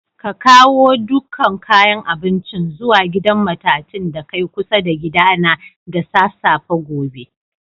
Ka kawo dukan kayan abincin zuwa gidan matatun da kai kusa da gida na da safafe gobe!